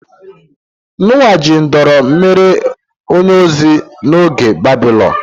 Noah ji nduru mere onye ozi n'oge Baịbụl.